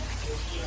qoyun bura.